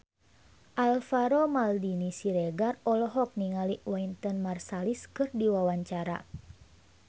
Alvaro Maldini Siregar olohok ningali Wynton Marsalis keur diwawancara